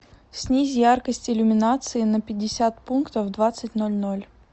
снизь яркость иллюминации на пятьдесят пунктов в двадцать ноль ноль